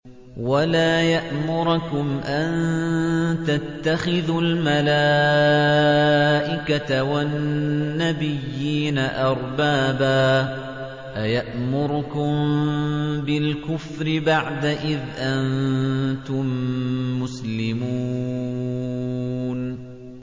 وَلَا يَأْمُرَكُمْ أَن تَتَّخِذُوا الْمَلَائِكَةَ وَالنَّبِيِّينَ أَرْبَابًا ۗ أَيَأْمُرُكُم بِالْكُفْرِ بَعْدَ إِذْ أَنتُم مُّسْلِمُونَ